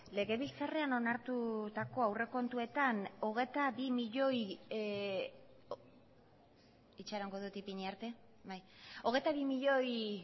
legebiltzarrean onartutako aurrekontuetan hogeita bi milioi itxarongo dut ipini arte hogeita bi milioi